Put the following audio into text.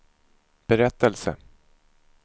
berättelse